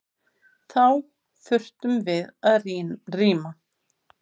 Þá þurftum við að rýma.